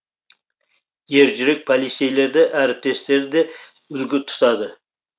ержүрек полицейлерді әріптестері де үлгі тұтады